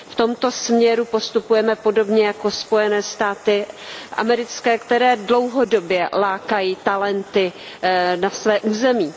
V tomto směru postupujeme podobně jako Spojené státy americké, které dlouhodobě lákají talenty na své území.